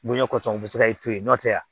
Bonɲa kɔtɔ u bɛ se ka i to yen nɔ tɛ